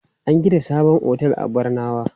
An gina sabon otel a Barnawa.